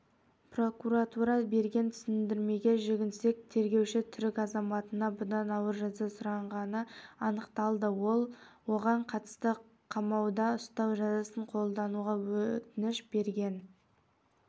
прокуратура берген түсіндірмеге жүгінсек тергеуші түрік азаматына бұдан ауыр жаза сұрағаны анықталды ол оған қатысты қамауда ұстау жазасын қолдануға өтініш берген